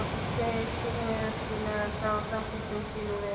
Hann segir skilmerkilega frá samskiptum sínum við